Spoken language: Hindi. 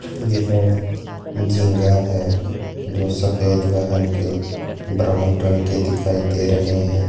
झींगा है दो सफेद व हल्के ब्राउन रंग के दिखाई दे रहे हैं।